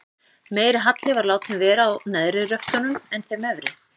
Meiri halli var látinn vera á neðri röftunum en þeim efri.